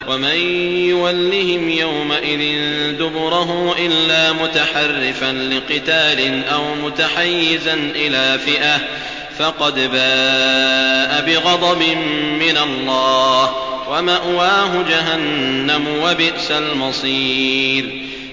وَمَن يُوَلِّهِمْ يَوْمَئِذٍ دُبُرَهُ إِلَّا مُتَحَرِّفًا لِّقِتَالٍ أَوْ مُتَحَيِّزًا إِلَىٰ فِئَةٍ فَقَدْ بَاءَ بِغَضَبٍ مِّنَ اللَّهِ وَمَأْوَاهُ جَهَنَّمُ ۖ وَبِئْسَ الْمَصِيرُ